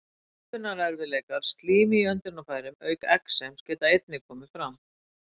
Öndunarerfiðleikar, slím í öndunarfærum auk exems geta einnig komið fram.